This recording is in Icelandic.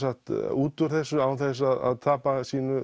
út úr þessu án þess að tapa sínu